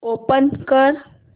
open कर